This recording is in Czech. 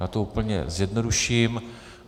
Já to úplně zjednoduším.